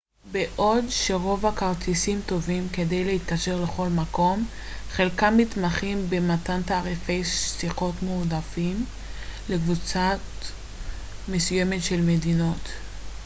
בעוד שרוב הכרטיסים טובים כדי להתקשר לכל מקום חלקם מתמחים במתן תעריפי שיחות מועדפים לקבוצות מסוימות של מדינות